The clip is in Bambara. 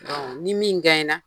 Ni min na